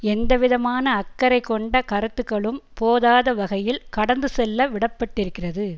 எந்தவிதமான அக்கறை கொண்ட கருத்துக்களும் போதாதவகையில் கடந்துசெல்ல விடப்பட்டிருக்கிறது